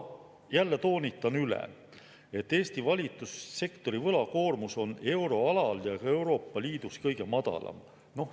Jälle toonitan üle, et Eesti valitsussektori võlakoormus on euroalal ja Euroopa Liidus kõige madalam.